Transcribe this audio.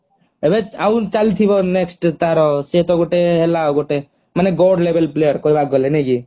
ଏବେ ଆଉ ଚାଲି ଥିବ next ତାର ସିଏ ତ ଗୋଟେ ହେଲା ଗୋଟେ ମାନେ god level player କହିବାକୁ ଗଲେ ନାଇଁ କି